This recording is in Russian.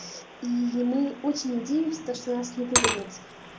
и мы очень надеемся что нас не выгонят